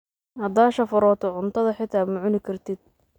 Hadaa shafaroto cuntadha xita macungartid.